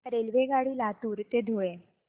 रेल्वेगाडी लातूर ते धुळे